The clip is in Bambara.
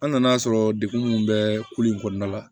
An nan'a sɔrɔ degun munnu bɛ kulu in kɔnɔna la